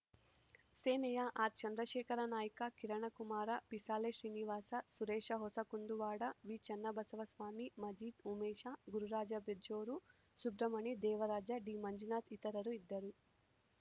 ಸೇನೆಯ ಆರ್‌ಚಂದ್ರಶೇಖರ ನಾಯ್ಕ ಕಿರಣಕುಮಾರ ಪಿಸಾಳೆ ಶ್ರೀನಿವಾಸ ಸುರೇಶ ಹೊಸ ಕುಂದುವಾಡ ವಿಚನ್ನಬಸವ ಸ್ವಾಮಿ ಮಜೀದ್‌ ಉಮೇಶ ಗುರುರಾಜ ಬಿಜ್ಜೋರು ಸುಬ್ರಹ್ಮಣಿ ದೇವರಾಜ ಡಿಮಂಜುನಾಥ ಇತರರು ಇದ್ದರು